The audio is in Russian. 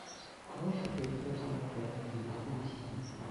можешь поискать трансляцию ливерпуля с сити